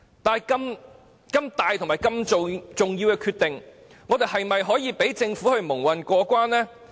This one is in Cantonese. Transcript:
但是，如此重大和重要的決定，我們是否應該讓政府蒙混過關？